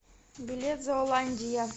билет зооландия